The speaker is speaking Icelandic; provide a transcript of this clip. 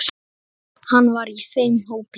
Hann var í þeim hópi.